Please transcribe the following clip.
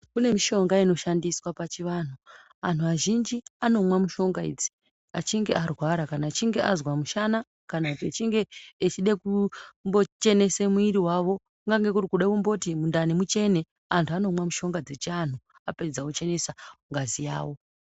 Kune mishonga inoshandiswa pachivantu antu azhinji anomwa mishonga idzi achinge arwara kana achinge azwa mushana kana achinge echide kumbo chenese mwiri vavo. Kungange kuri kuda kumboti mundani muchene antu anomwa mishonga dzechiantu apedza ochenesa ngazi yavo.